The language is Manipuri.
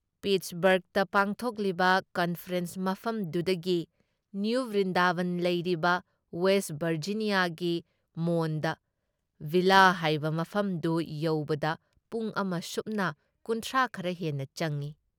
ꯄꯤꯠꯁꯕꯔꯒꯇ ꯄꯥꯡꯊꯣꯛꯂꯤꯕ ꯀꯟꯐꯔꯦꯟꯁ ꯃꯐꯝꯗꯨꯗꯒꯤ ꯅꯤꯌꯨ ꯕ꯭ꯔꯤꯟꯗꯥꯕꯟ ꯂꯩꯔꯤꯕ ꯋꯦꯁꯠ ꯚꯔꯖꯤꯅꯤꯌꯥꯒꯤ ꯃꯣꯟꯗ ꯚꯤꯜꯂꯥ ꯍꯥꯏꯕ ꯃꯐꯝꯗꯨ ꯌꯧꯕꯗ ꯄꯨꯡ ꯑꯃ ꯁꯨꯞꯅ ꯀꯨꯟꯊ꯭ꯔꯥ ꯈꯔ ꯍꯦꯟꯅ ꯆꯪꯏ ꯫